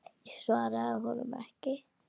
Ég svaraði honum ekki.